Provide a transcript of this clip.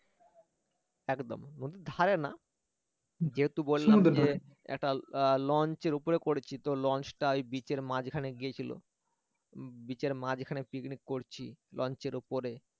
নদীর ধারে না যেহেতু বললাম যে একটা launch র উপরে করেছি তো launch টা ওই beach র মাঝখানে গিয়েছিল beach র মাঝখানে পিকনিক করছি launch র উপরে